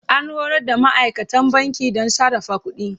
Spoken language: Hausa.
An horar da ma'aikatan banki don sarrafa kuɗi.